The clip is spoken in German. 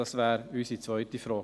– Das wäre unsere zweite Frage.